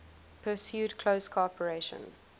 pursued close cooperation